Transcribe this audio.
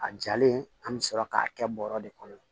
A jalen an bɛ sɔrɔ k'a kɛ bɔrɔ de kɔnɔ